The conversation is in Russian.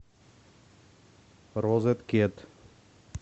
розеткед